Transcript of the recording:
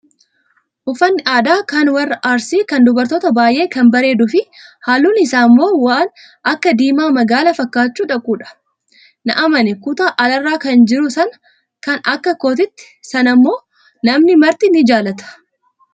Uffanni aadaa kan warra arsii kan dubarootaa baay'ee kan bareeduu fi halluun isaa immoo waan akka diimaa magaala fakkaachuu dhaqudha. Na amani kutaa alaarra kan jiru sana kan akka kootii sanammoo namni marti ni jaallata.